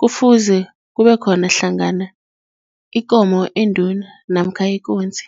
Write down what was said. kufuze kube khona hlangana ikomo enduna namkha ikunzi.